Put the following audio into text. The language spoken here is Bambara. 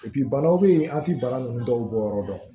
banaw bɛ yen an tɛ bana ninnu dɔw bɔ yɔrɔ dɔn